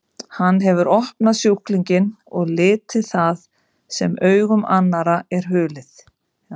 Hann hefur opnað sjúklinginn og litið það sem augum annarra er hulið.